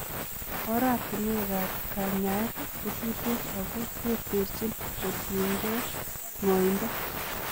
Oratinwekab kanyaet kotuten ako tertechin kotiengei ng'oindo.